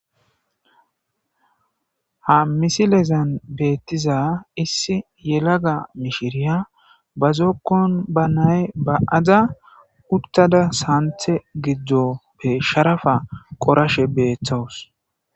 Ha misilezan beettiza issi yelaga mishiriya bazookkon ba nay ba'aza uttada santhe giddoppe sharafa qorashe beeththawus.